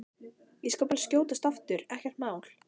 Ég skal bara skjótast aftur, ekkert mál!